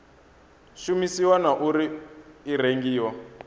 shumisiwa na uri i rengiwa